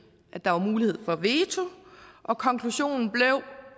at der var mulighed for veto og konklusionen blev